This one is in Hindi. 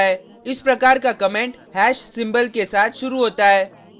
इस प्रकार का कमेंट # hash सिंबल के साथ शुरू होता है